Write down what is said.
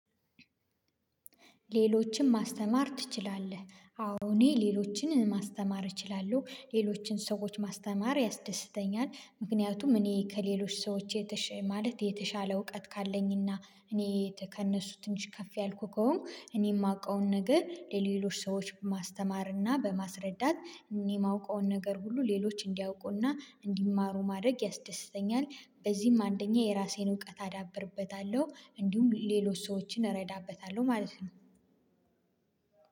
ሌሎችን ማስተማር ትችላለህ? አዎ እኔ ሌሎችንን ማስተማር እችላለሁ። ሌሎችን ሰዎች ማስተማር ያስደስተኛል። ምክንያቱም እኔ ከሌሎች ሰዎች የተሻ ማለት የተሻለ እውቀት ካለኝና እኔ ከእነሱ ትንሽ ከፍ ያልኩ ከሆንኩ እኔ የማውቀውን ነገር ለሌሎች ሰዎች ማስተማርና በማስረዳት የማውቀውን ነገር ሁሉ ሌሎች እንዲያውቁና እንዲማሩ ማድረግ ያስደስተኛል። በዚህም አንደኛ የራሴን እውቀት አዳብርበታለሁ እንዲሁም ሌሎች ሰዎችን እረዳበታለሁ ማለት ነው።